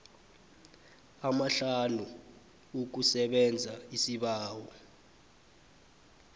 amahlanu ukusebenza isibawo